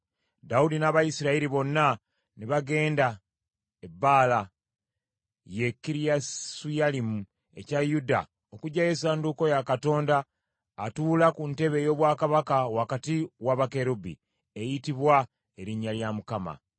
Dawudi n’Abayisirayiri bonna ne bagenda e Baala, ye Kiriyasuyalimu, ekya Yuda okuggyayo essanduuko ya Katonda atuula ku ntebe ey’obwakabaka wakati wa bakerubi, eyitibwa erinnya lya Mukama .